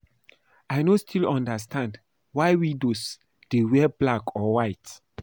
I no still understand why widows dey wear black or white